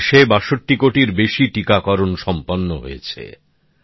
দেশে ৬২ কোটিরও বেশি টিকাকারণ সম্পন্ন হয়েছে